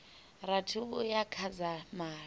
rathi uya kha dza malo